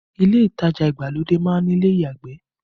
Ile itaja ìgbàlódé má ń ní ilé ìyàgbẹ̀